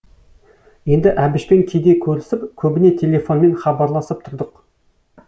енді әбішпен кейде көрісіп көбіне телефонмен хабарласып тұрдық